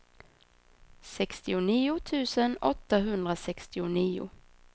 sextionio tusen åttahundrasextionio